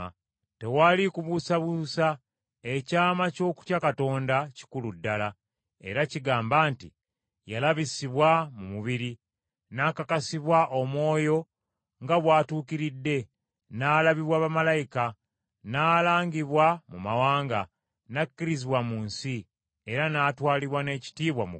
Tewali kubuusabuusa ekyama ky’okutya Katonda kikulu ddala, era kigamba nti: “Yalabisibwa mu mubiri, n’akakasibwa Omwoyo nga bw’atuukiridde, n’alabibwa bamalayika, n’alangibwa mu mawanga, n’akkirizibwa mu nsi, era n’atwalibwa n’ekitiibwa mu ggulu.”